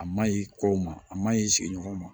A maɲi kɔw ma a maɲi sigiɲɔgɔnw ma